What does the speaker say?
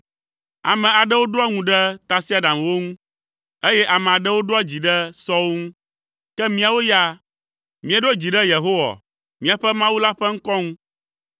Ame aɖewo ɖoa ŋu ɖe tasiaɖamwo ŋu, eye ame aɖewo ɖoa dzi ɖe sɔwo ŋu, ke míawo ya míeɖo dzi ɖe Yehowa, míaƒe Mawu la ƒe ŋkɔ ŋu.